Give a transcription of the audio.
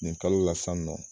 Nin kalo la san nɔ